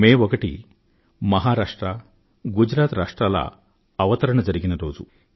మే ఒకటి మహారాష్ట్ర గుజరాత్ రాష్ట్రాల స్థాపక దినం